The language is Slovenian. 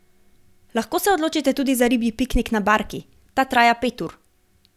Lahko se odločite tudi za ribji piknik na barki, ta traja pet ur.